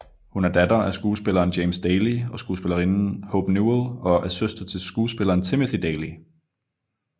Hun er datter af skuespilleren James Daly og skuespillerinden Hope Newell og er søster til skuespilleren Timothy Daly